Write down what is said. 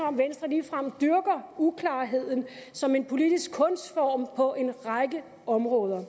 om venstre ligefrem dyrker uklarheden som en politisk kunstform på en række områder